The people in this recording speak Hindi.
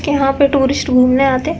कि यहाँ पे टुरिस्ट घूमने आते --